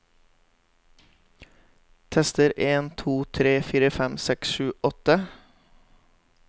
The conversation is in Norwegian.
Tester en to tre fire fem seks sju åtte